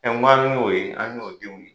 n k'an y'o ye. An y'o denw ye.